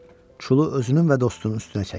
Çulu özünün və dostunun üstünə çəkdi.